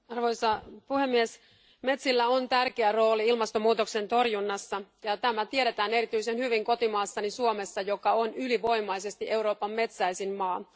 Arvoisa puhemies, metsillä on tärkeä rooli ilmastonmuutoksen torjunnassa, ja tämä tiedetään erityisen hyvin kotimaassani Suomessa, joka on ylivoimaisesti Euroopan metsäisin maa.